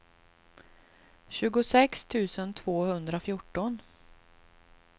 tjugosex tusen tvåhundrafjorton